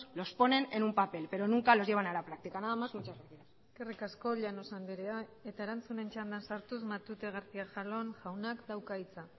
los ponen en un papel pero nunca los llevan a la práctica nada más muchas gracias eskerrik asko llanos anderea erantzunen txandan sartuz matute garcía de jalón jaunak dauka hitza